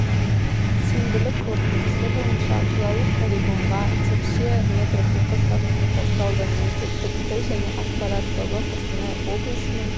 сенбілік қорытындысы бойынша қалалық полигонға текше метр қоқыс тасталды мемлекеттік тіл және ақпарат тобы қостанай облысының